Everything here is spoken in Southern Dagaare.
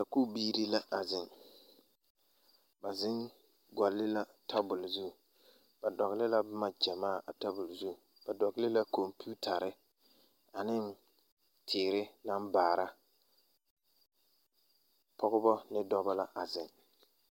Sakubiire la a zeŋ ba zeŋvgɔlle la tabole zu ba dɔgle la boma gyamaa a tabole zu ba dɔgle la kɔmpiutarre aneŋ teere naŋ baara pɔgebɔ ne dɔbɔ la a zeŋ.